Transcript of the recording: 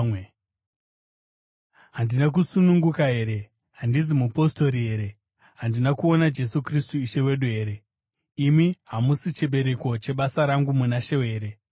Handina kusununguka here? Handizi mupostori here? Handina kuona Jesu Kristu Ishe wedu here? Imi hamusi chibereko chebasa rangu muna She here?